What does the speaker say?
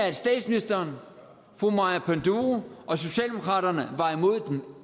at statsministeren fru maja panduro og socialdemokraterne var imod dem